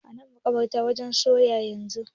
Ana madarar waken soya yanzu.